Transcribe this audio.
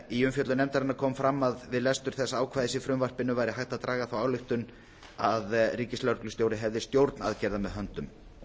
í umfjöllun nefndarinnar kom fram að við við lestur þessa ákvæðis frumvarpsins væri hægt að draga þá ályktun að ríkislögreglustjóri hefði stjórn aðgerða með höndum